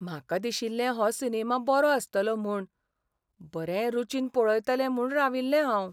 म्हाका दिशिल्लें हो सिनेमा बरो आसतलो म्हूण. बरें रूचीन पळयतलें म्हूण राविल्लें हांव.